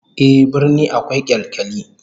Ehh, birni akwai kyalkyali